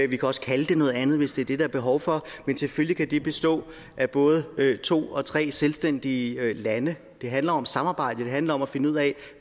vi kan også kalde det noget andet hvis det er det der er behov for men selvfølgelig kan det bestå af både to og tre selvstændige lande det handler om samarbejde det handler om at finde ud af